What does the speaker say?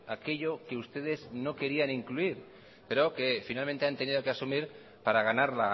aquello que ustedes no querían incluir pero que finalmente han tenido que asumir para ganar